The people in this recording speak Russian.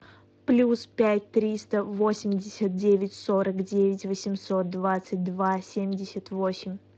плюс пять триста восемьдесят девять сорок девять восемьсот двадцать два семьдесят восемь